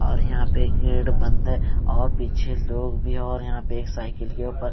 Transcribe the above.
और यहां पे गेट बंद है और पीछे लोग भी और यहां पे एक साइकिल के ऊपर--